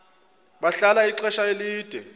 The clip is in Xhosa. bahlala ixesha elide